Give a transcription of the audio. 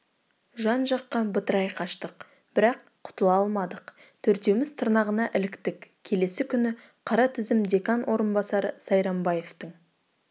жан-жаққа бытырай қаштық бірақ құтыла алмадық төртеуміз тырнағына іліктік келесі күні қара тізім декан орынбасары сайрамбаевтың